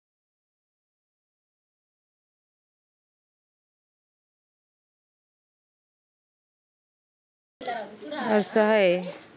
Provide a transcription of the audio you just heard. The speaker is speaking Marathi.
अस हाय